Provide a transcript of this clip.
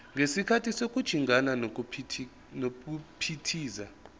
ngesikhathi sokujingana nokuphithiza